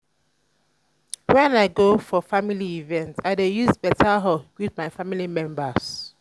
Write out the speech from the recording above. wen i go for family event i dey use beta hug greet my family members.